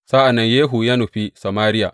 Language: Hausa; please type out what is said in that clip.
Sa’an nan Yehu ya nufi Samariya.